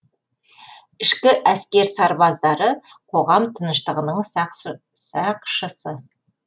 ішкі әскер сарбаздары қоғам тыныштығының сақшысы